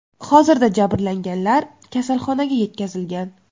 Hozirda jabrlanganlar kasalxonaga yetkazilgan.